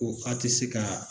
Ko ka te se ka